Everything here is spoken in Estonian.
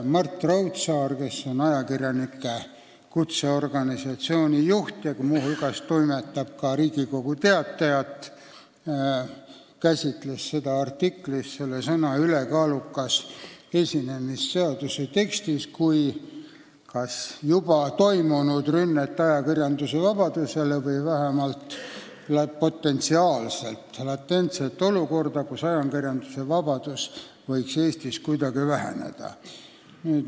Mart Raudsaar, kes on ajakirjanike kutseorganisatsiooni juht ja toimetab muu hulgas ka Riigikogu Teatajat, käsitles artiklis sõna "ülekaalukas" esinemist seaduse tekstis kui juba toimunud rünnet ajakirjandusvabadusele või vähemalt potentsiaalselt latentset olukorda, kus ajakirjandusvabadus võib Eestis väheneda.